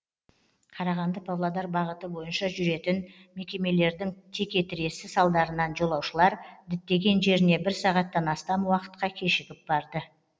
қарағанды павлодар бағыты бойынша жүретін мекемелердің текетіресі салдарынан жолаушылар діттеген жеріне бір сағаттан астам уақытқа кешігіп барды